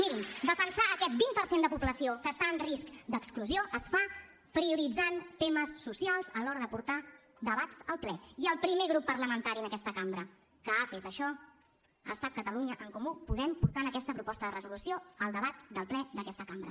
mirin defensar aquest vint per cent de població que està en risc d’exclusió es fa prioritzant temes socials a l’hora de portar debats al ple i el primer grup parlamentari en aquesta cambra que ha fet això ha estat catalunya en comú podem portant aquesta proposta de resolució al debat del ple d’aquesta cambra